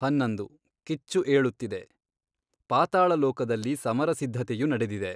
ಹನ್ನೊಂದು, ಕಿಚ್ಚು ಏಳುತ್ತಿದೆ ಪಾತಾಳಲೋಕದಲ್ಲಿ ಸಮರಸಿದ್ಧತೆಯು ನಡೆದಿದೆ.